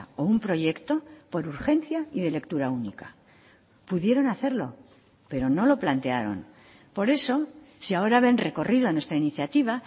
o un proyecto por urgencia y de lectura única pudieron hacerlo pero no lo plantearon por eso si ahora ven recorrido en nuestra iniciativa